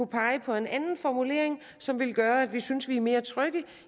pege på en anden formulering som vil gøre at vi synes at vi er mere trygge